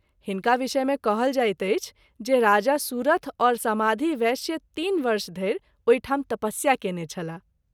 हिनका विषय मे कहल जाइत अछि जे राजा सुरथ और समाधी वैश्य तीन वर्ष धरि ओहि ठाम तपस्या कएने छलाह।